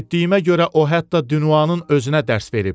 Eşitdiyimə görə o hətta Duanın özünə dərs verib.